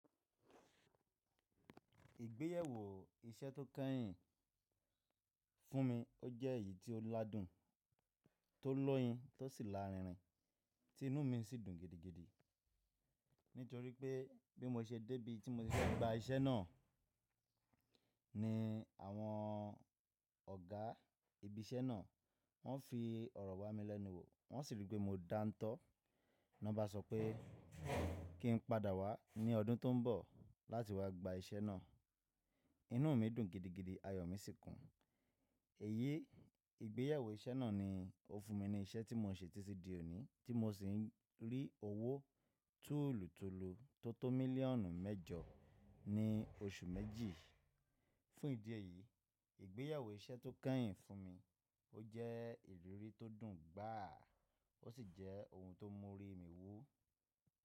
Ìgbéyàwó iṣẹ́ tó kènyìn fún mi. Ó jẹ́ èyí tíó ládùn, tó lọ́yin, tó sì lárinrin, tí inú mi sì dùn gidigidi. Nítorí wìpé bí mo ṣe débí tí mo ṣe fẹ́ gba iṣẹ́ náà ni àwọn ọ̀gá ibi iṣẹ́ náà wọ́n fi ọ̀rọ̀ wa mi lẹ́nu wò. Wọ́n sì wí pé mo dántọ́, nì wọn bá sọ pé kí n padà wá ní ọdún tó ń bọ̀ láti wá gba iṣẹ́ náà. Inú mi dùn gidigidi, ayọ̀ mi sì kún. Èyí ìgbéyèwó iṣẹ́ náà ni ó fún mi ní iṣẹ́ tí mò ń ṣe títí di òní, tí mo sì ń rí owó tùlùtùlù tó tó mílíọ̀nù mẹ́jọ ní oṣù méjì. Fún ìdí èyí, ìgbéyèwó iṣẹ́ tó kènyìn fún mi ó jẹ́ ìrírí tó dùn gbàá, ó sì jẹ́ ohun tó mú orí mi wú.